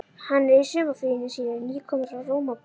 Hann er í sumarfríinu sínu, nýkominn frá Rómaborg.